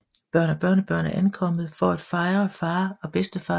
Børn og børnebørn er ankommet for at fejre far og bedstefar